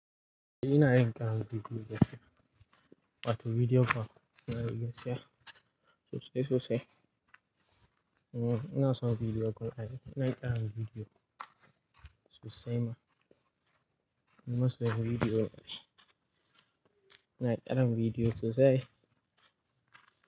Ina yin ƙarin bidiyo gaskiya. Wato bidiyo ƙanana gaskiya sosai sosai. Mm ina son bidiyo ƙanana. Ina ƙara bidiyo sosai ma. Ina soya bidiyo. Ina ƙara bidiyo sosai.